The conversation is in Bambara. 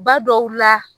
Ba dɔw la